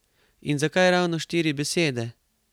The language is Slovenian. In zakaj ravno štiri besede?